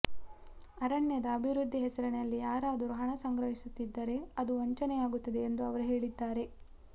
ಅರಣ್ಯದ ಅಭಿವೃದ್ಧಿ ಹೆಸರಿನಲ್ಲಿ ಯಾರಾದರೂ ಹಣ ಸಂಗ್ರಹಿಸುತ್ತಿದ್ದರೆ ಅದು ವಂಚನೆಯಾಗುತ್ತದೆ ಎಂದು ಅವರು ಹೇಳಿದ್ದಾರೆ